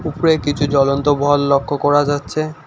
উপরে কিছু জ্বলন্ত ভল লক্ষ করা যাচ্ছে।